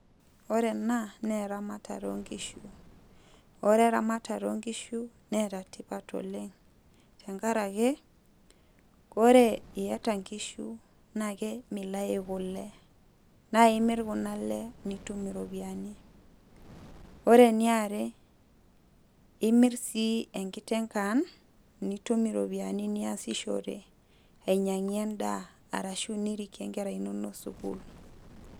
Ore ena, neramatare onkishu. Ore eramatare onkishu, neeta tipat oleng tenkaraki, ore iyata nkishu, nake milayu kule. Na imir kuna ale nitum iropiyiani. Ore eniare, imir sii enkiteng' kan, nitum iropiyiani niasishore, ainyang'ie endaa, arashu nirikie nkera inonok sukuul.